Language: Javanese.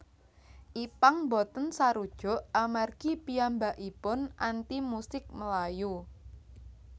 Ipank boten sarujuk amargi piyambakaipun anti musik melayu